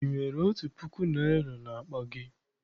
I nwere otu puku naịra n'akpa gị?